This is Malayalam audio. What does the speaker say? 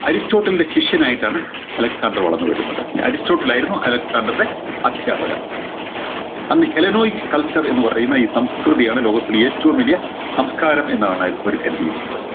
അരിസ്റ്റോട്ടിൽൻറെ ശിഷ്യനായിട്ടാണ് അലക്‌സാണ്ടർ വളർന്നു വരുന്നത് അരിസ്റ്റോട്ടിൽ ആയിരുന്നു അലക്‌സാണ്ടർൻറെ അധ്യാപകൻ അന്ന് healenoix culture എന്ന് പറയുന്ന ഈ സംസ്‌കൃതിയാണ് ലോകത്തിലെ ഏറ്റവും വലിയ സംസ്കാരം എന്നാണ് അവര് കരുതിയിരുന്നത്